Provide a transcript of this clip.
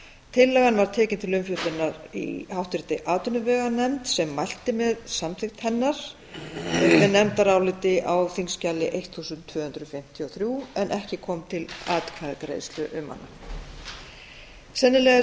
tillagan var tekin til umfjöllunar í háttvirtri atvinnuveganefnd sem mælti með samþykkt hennar með nefndaráliti á þingskjali tólf hundruð fimmtíu og þrjú en ekki kom til atkvæðagreiðslu um hana sennilega er